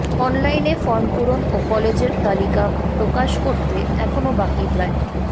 অনলাইনে ফর্ম পূরণ ও কলেজের তালিকা প্রকাশ করতে এখনও বাকি প্রায়